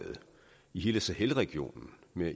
i hele sahelregionen med